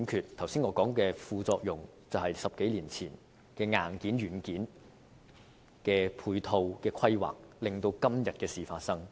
我剛才所說的副作用，便是10多年前硬件和軟件的配套規劃失效所致。